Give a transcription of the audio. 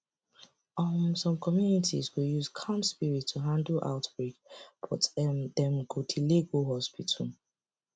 um some communities go use calm spirit to handle outbreak but um dem go delay go hospital